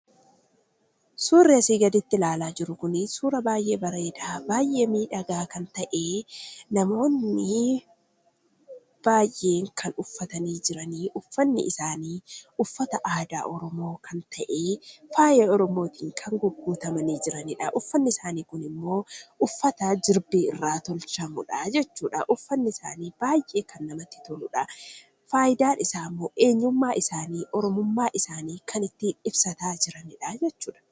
Suurri asi gaditti ilaalaa jirru kun, suuraa baay'ee bareeda, baay'ee miidhaga kan ta'e, namoonni baay'een kan uffatani jiran, uffanni isaanii, uffata aadaa oromoo kan ta'e faayaa oromootiin kan gugguutamani jiranidha. faayidan isaa immoo oromummaa isaanii kan ittin ibsacha jiranidha.